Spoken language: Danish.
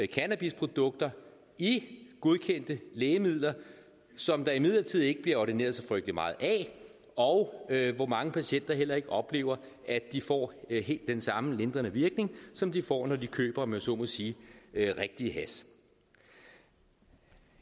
cannabisprodukter i godkendte lægemidler som der imidlertid ikke bliver ordineret så frygtelig meget af og hvor mange patienter heller ikke oplever at de får helt den samme lindrende virkning som de får når de køber om jeg så må sige rigtig hash